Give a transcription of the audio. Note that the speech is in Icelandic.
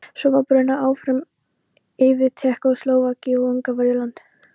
Svo var brunað áfram yfir Tékkóslóvakíu og Ungverjaland.